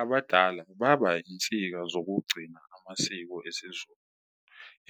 Abadala baba insika zokugcina amasiko esiZulu